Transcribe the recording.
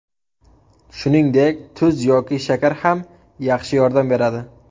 Shuningdek, tuz yoki shakar ham yaxshi yordam beradi.